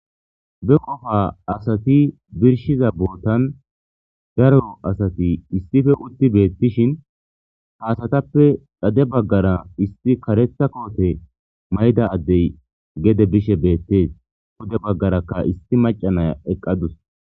Be qofa asati birshiza bootan zaroro asati issife utti beettishin haasatappe dhade baggara issi karetha koote mayda addey gede bishe beettees pude baggarakka issi macanaya eqqadus.